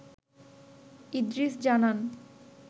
ইদ্রিস জানান